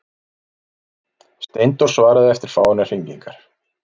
Steindór svaraði eftir fáeinar hringingar.